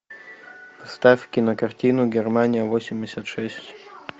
ставь кинокартину германия восемьдесят шесть